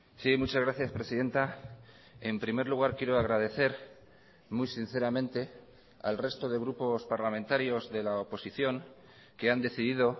sí muchas gracias presidenta en primer lugar quiero agradecer muy sinceramente al resto de grupos parlamentarios de la oposición que han decidido